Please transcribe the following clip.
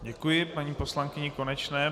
Děkuji paní poslankyni Konečné.